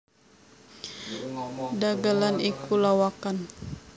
Dhagelan iku lawakan